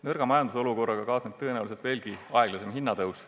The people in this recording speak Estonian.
Nõrga majandusolukorraga kaasneb tõenäoliselt veelgi aeglasem hinnatõus.